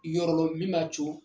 Yɔrɔlɔ min b'a co